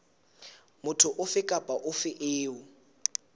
motho ofe kapa ofe eo